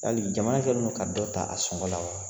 Yali jaman kɛnin do ka dɔ ta a sɔngɔn la wa?